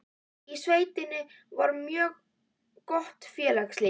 Í sveitinni var mjög gott félagslíf.